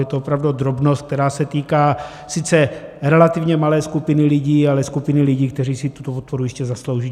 Je to opravdu drobnost, která se týká sice relativně malé skupiny lidí, ale skupiny lidí, kteří si tuto podporu jistě zaslouží.